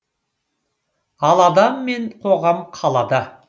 ал адам мен қоғам қалада